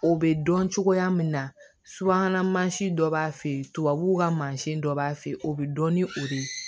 O bɛ dɔn cogoya min na subahana mansin dɔ b'a fɛ yen tubabuw ka mansin dɔ b'a fe ye o be dɔn ni o de ye